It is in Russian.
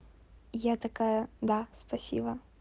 я такая да спасибо